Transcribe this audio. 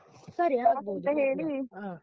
ಸರಿ ಆಗ್ಬೋದು